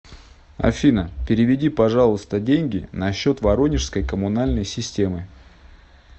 афина переведи пожалуйста деньги на счет воронежской комунальной системы